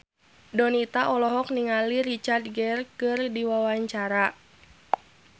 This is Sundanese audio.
Donita olohok ningali Richard Gere keur diwawancara